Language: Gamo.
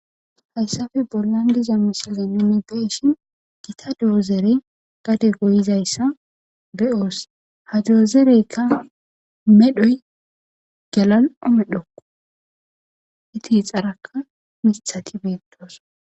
Hayssafe bollan diza misaleume beshin gita doozere gade goyizayssa be7oos ha doozereykka medhoy galal7o medhokko iti xarakka mithati beettoos.